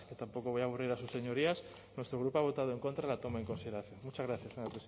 tampoco voy a aburrir a sus señorías nuestro grupo ha votado en contra de la toma en consideración muchas gracias señora presidenta